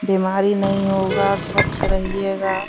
बीमारी नहीं होगा और स्‍वच्‍छ रहिएगा।